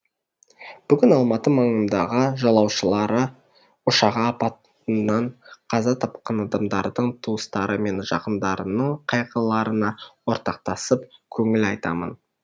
бүгін алматы маңындағы жолаушылар ұшағы апатынан қаза тапқан адамдардың туыстары мен жақындарының қайғыларына ортақтасып көңіл айтамын